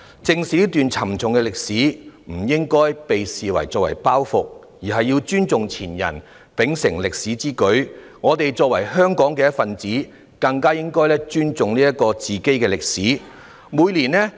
正視這段沉重的歷史不應被視為包袱，應要尊重前人，秉承歷史之舉，而我們作為香港的一分子，更應尊重自己的歷史。